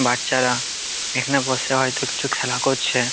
বাচ্চারা এখানে বসে হয়তো কিছু খেলা করছে।